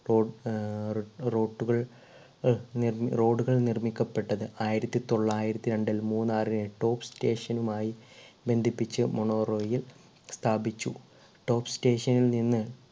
raw ഏർ road ട്ടുകൾ അഹ് നിർ road കൾ നിർമ്മിക്കപ്പെട്ടത് ആയിരത്തി തൊള്ളായിരത്തി രണ്ടിൽ മൂന്നാറിനെ top station നുമായി ബന്ധിപ്പിച്ചു mono rail സ്ഥാപിച്ചു top station ൽ നിന്ന്